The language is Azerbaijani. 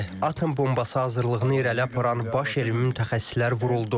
Atom bombası hazırlığını irəli aparan baş elmi mütəxəssislər vuruldu.